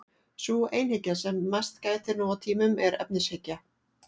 Sú einhyggja sem mest gætir nú á tímum er efnishyggja.